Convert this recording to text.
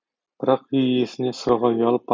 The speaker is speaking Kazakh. бірақ үй иесінен сұрауға ұялып